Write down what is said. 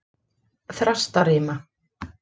Þrastarima